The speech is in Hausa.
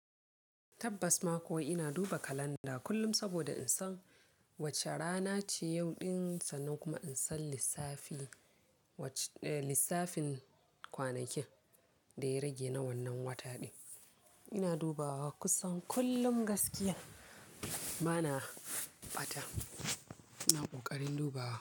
Tabbas ma kuwa ina duba kalanda kullum saboda in san wace rana ce yau ɗin sannan kuma in san lissafin kwanakin da ya rage na wannan wata ɗin. Ina dubawa kusan kullum gaskiya bana bata. Ina ƙoƙarin dubawa.